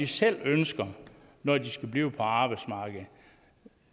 selv ønsker i at blive på arbejdsmarkedet